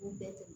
U bɛɛ